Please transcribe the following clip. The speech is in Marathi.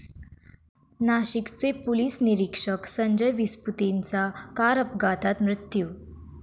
नाशिकचे पोलीस निरीक्षक संजय विसपुतेंचा कार अपघातात मृत्यू